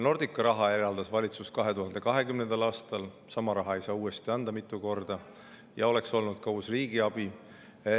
Nordicale eraldas valitsus raha 2020. aastal, sama raha ei saa mitu korda anda ja oleks olnud uus riigiabi.